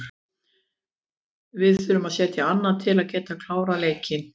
Við þurfum að setja annað til að geta klárað leikinn.